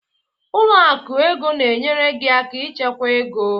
Ụlọ akụ ego na-enyere gị aka ịchekwa ego.